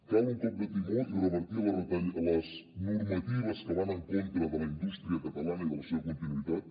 cal un cop de timó i revertir les normatives que van en contra de la indústria catalana i de la seva continuïtat